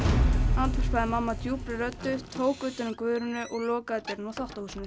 andvarpaði mamma djúpri röddu tók utan um Guðrúnu og lokaði dyrunum á þvottahúsinu